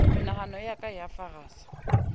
menahano ya ka ya farasa